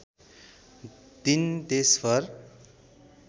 दिन देशभर